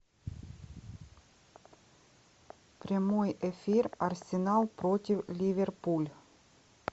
прямой эфир арсенал против ливерпуль